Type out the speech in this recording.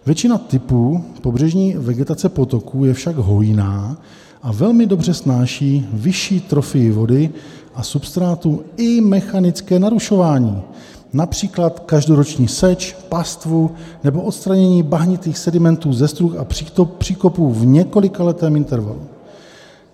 Většina typů pobřežní vegetace potoků je však hojná a velmi dobře snáší vyšší trofii vody a substrátů i mechanické narušování, například každoroční seč, pastvu nebo odstranění bahnitých sedimentů ze struh a příkopů v několikaletém intervalu.